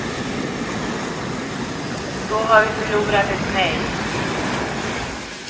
Då har vi förlorat ett nej.